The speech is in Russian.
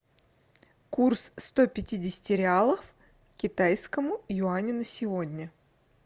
курс ста пятидесяти реалов к китайскому юаню на сегодня